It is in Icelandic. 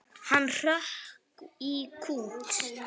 Hann hrökk í kút.